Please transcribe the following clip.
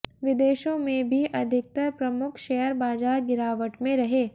विदेशों में भी अधिकतर प्रमुख शेयर बाजार गिरावट में रहे